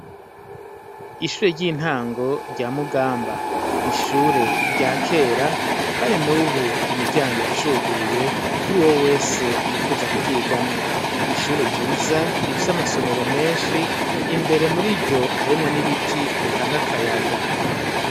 Ishure ry'intango rya mugamba ni ishure rya kera, kandi n'ubu imiryango iracuguruye kuri wo wese yifuza kugigamwo ni ishure ryiza rifise amasomero menshi imbere muri ryo harimwo n'ibiti bitange akayaga.